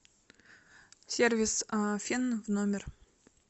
сервис фен в номер